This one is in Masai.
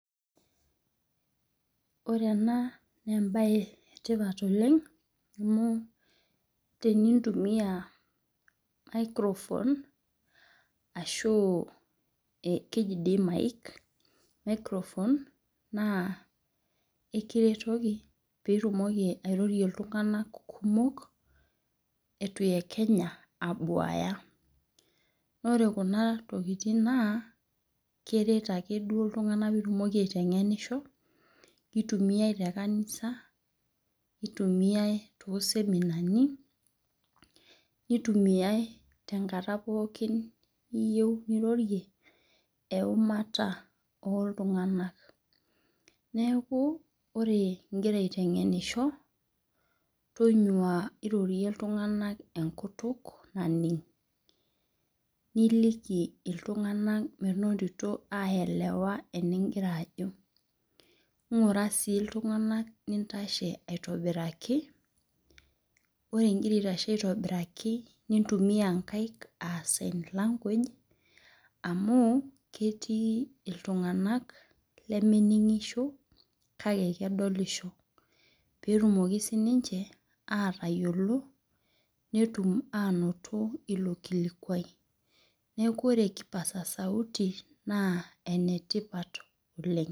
Ore enaa naa ebae etipat oleng amu tenintumia microphone ashu keji doii mic microphone naa ekiretoki pitumoki airorei iltung'ana kumok etu eikenya abuaya. Naa ore kuna tokitin naa keret duo ame iltung'ana pitumoki aiteng'enisho. Kitumia te kanisa itumia too semenani nitumiae te nkate pookin niyeu nirorei eunata oltung'ana neeku ore igira aiteng'enisho tonyua irorie iltung'ana enkutuk naning'. Nikiki iltung'ana menotito ayelewa enigira ajo. Ng'ura sii iltung'ana nintashe aitoibaraki. Ore igira aitashe aitobiraki nintumia inkaaik aa sign language aitobiraki iltung'ana lemining'isho kake kedolisho. Petumoki sii ninche atayiolo netum anoto olrmeikuai. Neeku ore naa enetipat oleng'.